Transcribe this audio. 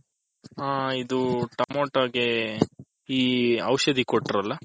ಹ ಇದು ಟಮ್ಯಾಟೋಗೆ ಈ ಔಷದಿ ಕೊಟ್ರಲ.